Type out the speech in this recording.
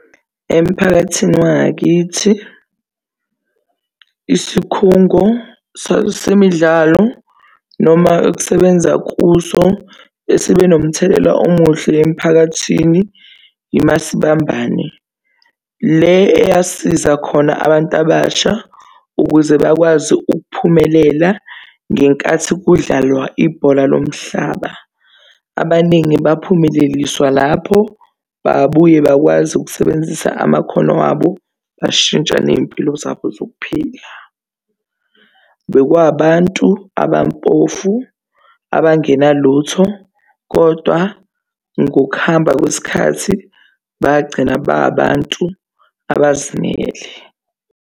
Emphakathini wangakithi, isikhungo semidlalo noma ukusebenza kuso esibe nomthelela omuhle emphakathini iMasibambane, le eyasiza khona abantu abasha ukuze bakwazi ukuphumelela ngenkathi kudlalwa ibhola lomhlaba. Abaningi baphumeleliswa lapho, babuye bakwazi ukusebenzisa amakhono abo, bashintsha ney'mpilo zabo zokuphila. Bekwabantu abampofu abangenalutho kodwa ngokuhamba kwesikhathi bagcina bengabantu abazimele.